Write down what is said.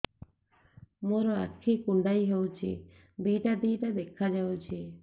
ମୋର ଆଖି କୁଣ୍ଡାଇ ହଉଛି ଦିଇଟା ଦିଇଟା ଦେଖା ଯାଉଛି